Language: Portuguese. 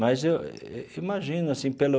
Mas eu eu imagino, assim, pelo...